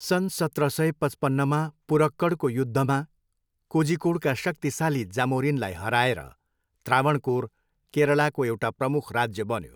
सन् सत्र सय पचपन्नमा पुरक्कडको युद्धमा कोझिकोडका शक्तिशाली जामोरिनलाई हराएर त्रावनकोर केरलाको एउटा प्रमुख राज्य बन्यो।